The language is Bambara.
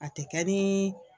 A te kɛ nin